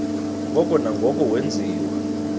ngoko nangoko wenziwa